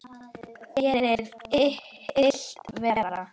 Gerir illt verra.